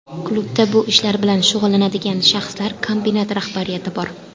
Klubda bu ishlar bilan shug‘ullanadigan shaxslar, kombinat rahbariyati bor.